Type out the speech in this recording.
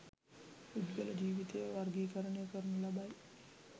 පුද්ගල ජීවිතය වර්ගීකරණය කරනු ලබයි.